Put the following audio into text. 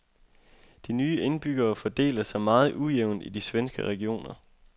De nye indbyggere fordeler sig meget ujævnt i de svenske regioner.